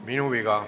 Minu viga.